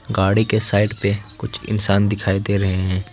गाड़ी के साईड पे कुछ इंसान दिखाई दे रहे हैं।